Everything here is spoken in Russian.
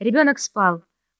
ребёнок спал